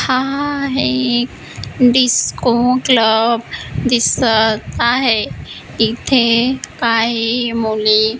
हा एक disco club दिसतं आहे इथे काही मुली--